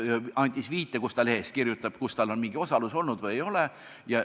Ta andis viite, kus ta lehes kirjutab, kus tal on mingi osalus olnud või ei ole.